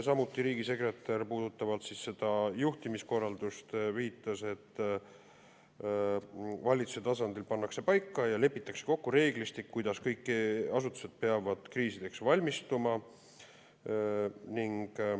Samuti viitas riigisekretär juhtimiskorraldust puudutades, et valitsuse tasandil pannakse paika ja lepitakse kokku reeglistik, kuidas kõik asutused peavad kriisideks valmistuma.